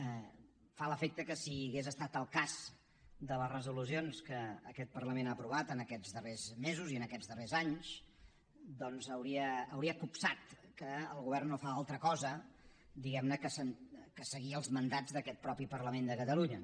em fa l’efecte que si hagués estat al cas de les resolucions que aquest parlament ha aprovat en aquests darrers mesos i en aquests darrers anys hauria copsat que el govern no fa altra cosa diguem ne que seguir els mandats d’aquest mateix parlament de catalunya